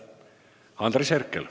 Andres Herkel.